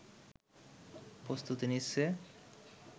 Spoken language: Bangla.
প্রস্তুতি নিচ্ছে